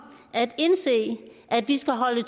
at indse at vi skal holde